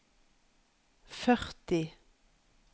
førti